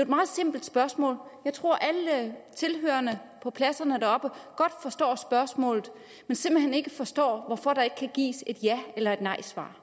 meget simpelt spørgsmål jeg tror at alle tilhørerne på pladserne deroppe godt forstår spørgsmålet men simpelt hen ikke forstår hvorfor der ikke kan gives et ja eller nejsvar